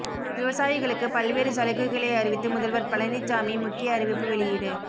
விவசாயிகளுக்கு பல்வேறு சலுகைகளை அறிவித்து முதல்வர் பழனிச்சாமி முக்கிய அறிவிப்பு வெளியீடு